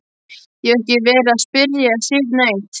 Ég hef ekki verið að spyrja Sif neitt.